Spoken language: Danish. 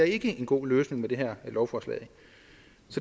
ikke er en god løsning med det her lovforslag